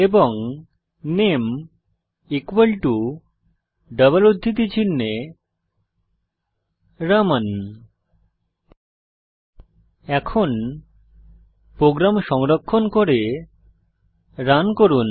এবং নামে equal to double উদ্ধৃতি চিনহে রামান এখন প্রোগ্রাম সংরক্ষণ করে রান করুন